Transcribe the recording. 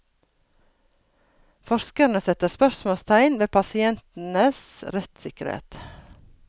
Forskerne setter spørsmålstegn ved pasientenes rettssikkerhet.